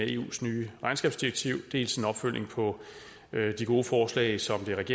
eus nye regnskabsdirektiv dels en opfølgning på de gode forslag som det af